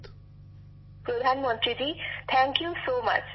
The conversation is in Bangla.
বিশাখাজীঃ প্রধানমন্ত্রী জী অনেক অনেক ধন্যবাদ